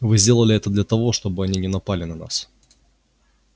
вы сделали это только для того чтобы они не напали на нас